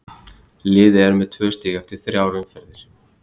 Liðið er með tvö stig eftir þrjár umferðir.